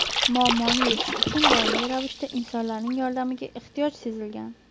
Muammoni yechish uchun doimiy ravishda insonlarning yordamiga ehtiyoj sezilgan.